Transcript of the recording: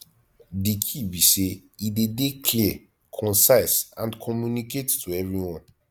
di key be say e dey dey clear concise and communicate to everyone